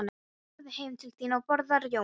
Farðu heim til þín og borðaðu rjóma.